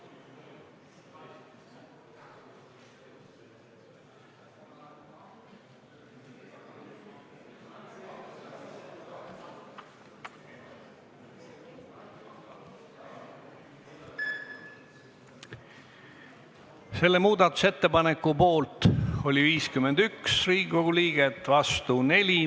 Hääletustulemused Selle muudatusettepaneku poolt oli 51 Riigikogu liiget, vastu 4.